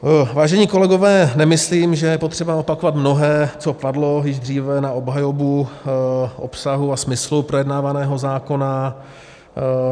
Vážení kolegové, nemyslím, že je potřeba opakovat mnohé, co padlo již dříve na obhajobu obsahu a smyslu projednávaného zákona.